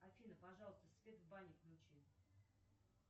афина пожалуйста свет в бане включи